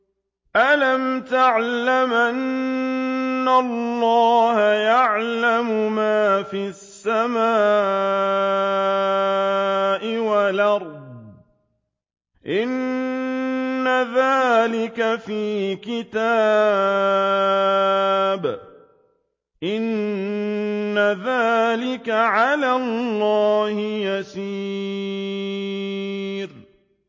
أَلَمْ تَعْلَمْ أَنَّ اللَّهَ يَعْلَمُ مَا فِي السَّمَاءِ وَالْأَرْضِ ۗ إِنَّ ذَٰلِكَ فِي كِتَابٍ ۚ إِنَّ ذَٰلِكَ عَلَى اللَّهِ يَسِيرٌ